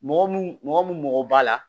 Mɔgɔ mun mɔgɔ mun mɔgɔ b'a la